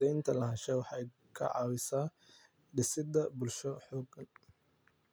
Cadaynta lahaanshaha waxay ka caawisaa dhisidda bulsho xooggan.